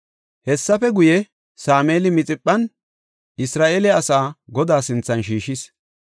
Hessafe guye, Sameeli Mixiphan Isra7eele asaa Godaa sinthan shiishis.